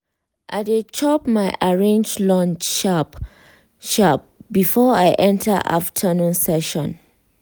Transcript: i dey chop my arrange lunch sharp sharp before i enter afternoon session.